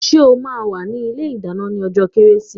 Are you going to be in the kitchen on Chrismas Day?